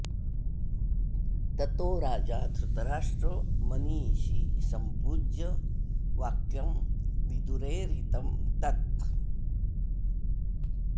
ततो राजा धृतराष्ट्रो मनीषी सम्पूज्य वाक्यं विदुरेरितं तत्